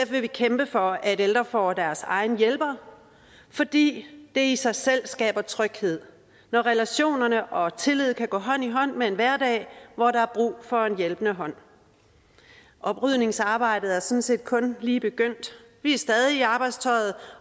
vil vi kæmpe for at ældre får deres egen hjælper fordi det i sig selv skaber tryghed når relationerne og tillid kan gå hånd i hånd med en hverdag hvor der er brug for en hjælpende hånd oprydningsarbejdet er sådan set kun lige begyndt vi er stadig i arbejdstøjet